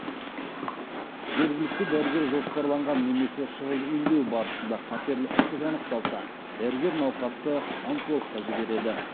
жергілікті дәрігер жоспарланған немесе шұғыл емдеу барысында қатерлі ісік анықталса дәрігер науқасты онкологқа жібереді